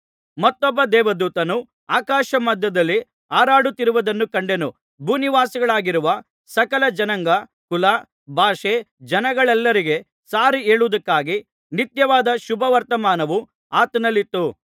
ಮತ್ತೊಬ್ಬ ದೇವದೂತನು ಆಕಾಶಮಧ್ಯದಲ್ಲಿ ಹಾರಾಡುತ್ತಿರುವುದನ್ನು ಕಂಡೆನು ಭೂನಿವಾಸಿಗಳಾಗಿರುವ ಸಕಲ ಜನಾಂಗ ಕುಲ ಭಾಷೆ ಜನಗಳೆಲ್ಲರಿಗೆ ಸಾರಿಹೇಳುವುದಕ್ಕಾಗಿ ನಿತ್ಯವಾದ ಶುಭವರ್ತಮಾನವು ಆತನಲ್ಲಿತ್ತು